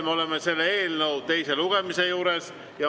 Oleme selle eelnõu teise lugemise juures.